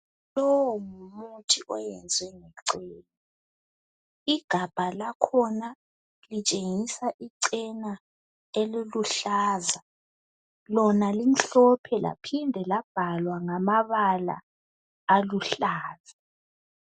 Lowu ngumuthi oyenziwe ngecena igabha lakhona litshengisa icena eliluhlaza lona limhlophe laphinda labhalwa ngamabala aluhlaza.